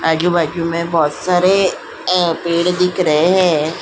आजू-बाजू में बहुत सारे अ पेड़ दिख रहे हैं।